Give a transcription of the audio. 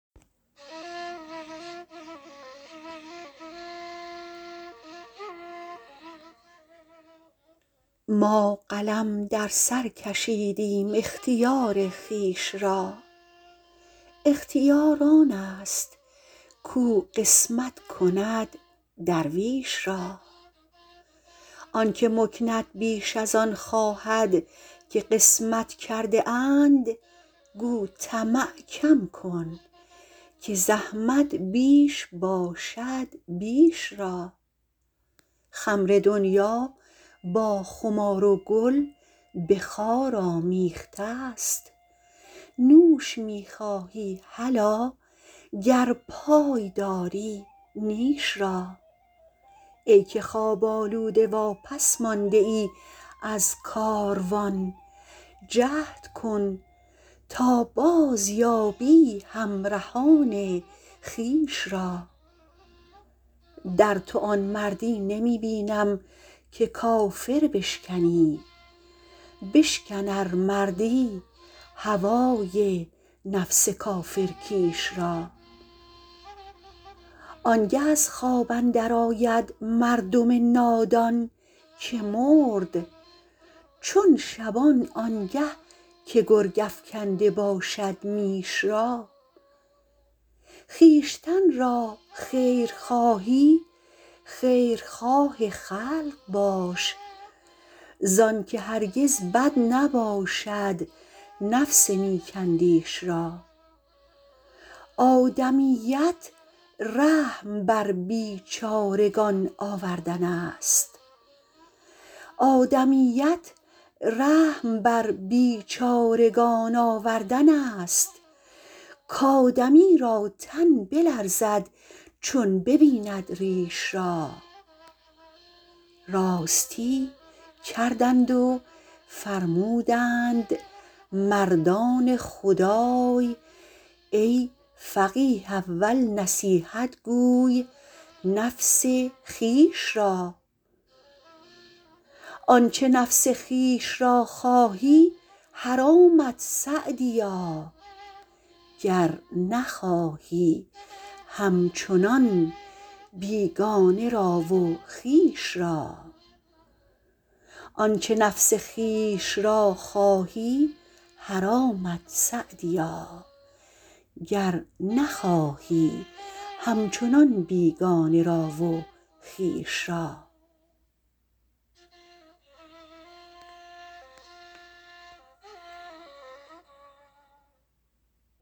ما قلم در سر کشیدیم اختیار خویش را اختیار آن است کاو قسمت کند درویش را آن که مکنت بیش از آن خواهد که قسمت کرده اند گو طمع کم کن که زحمت بیش باشد بیش را خمر دنیا با خمار و گل به خار آمیخته ست نوش می خواهی هلا گر پای داری نیش را ای که خواب آلوده واپس مانده ای از کاروان جهد کن تا بازیابی همرهان خویش را در تو آن مردی نمی بینم که کافر بشکنی بشکن ار مردی هوای نفس کافر کیش را آن گه از خواب اندر آید مردم نادان که مرد چون شبان آن گه که گرگ افکنده باشد میش را خویشتن را خیر خواهی خیرخواه خلق باش زآن که هرگز بد نباشد نفس نیک اندیش را آدمیت رحم بر بیچارگان آوردن است کآدمی را تن بلرزد چون ببیند ریش را راستی کردند و فرمودند مردان خدای ای فقیه اول نصیحت گوی نفس خویش را آنچه نفس خویش را خواهی حرامت سعدیا گر نخواهی همچنان بیگانه را و خویش را